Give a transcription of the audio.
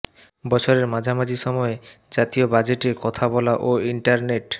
বছরের মাঝামাঝি সময়ে জাতীয় বাজেটে কথা বলা ও ইন্টারনেট